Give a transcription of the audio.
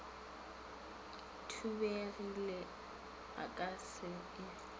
thubegile o ka se e